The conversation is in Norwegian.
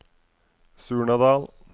Surnadal